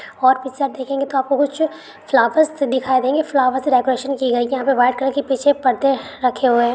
और पीछे आप देखेंगे तो आपको कुछ फ्लावर्स दिखाई देंगे फ्लावर डेकोरेशन की गई है यहाँ पे व्हाइट कलर के पीछे पर्दे रखे हुए है।